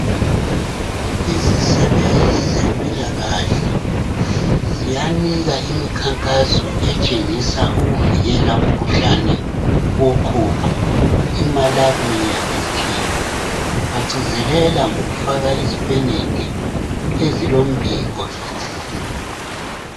Izisebenzi zempilakahle ziyanika imikhankaso etshengisa ukuvikela umkhuhlane woqhuqho imalaria ngesikhiwa bagcizelela ngokufaka izipenede ezilombiko lo